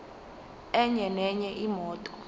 enye nenye imoto